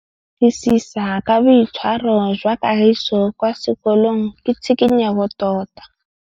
Go batlisisa ka boitshwaro jwa Kagiso kwa sekolong ke tshikinyêgô tota.